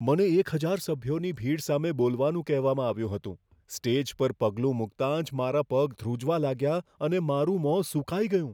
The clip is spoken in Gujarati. મને એક હજાર સભ્યોની ભીડ સામે બોલવાનું કહેવામાં આવ્યું હતું. સ્ટેજ પર પગલું મૂકતા જ મારા પગ ધ્રૂજવા લાગ્યા અને મારું મોં સૂકાઈ ગયું.